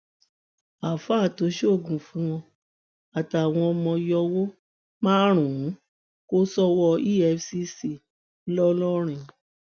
àáfàá tó ń ṣoògùn fún wọn àtàwọn ọmọ yòwò márùnún kò sọwọ efcc ńlọrọrìn